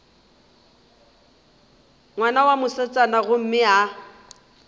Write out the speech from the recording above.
ngwana wa mosetsana gomme a